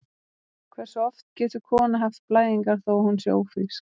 Hversu oft getur kona haft blæðingar þó að hún sé ófrísk?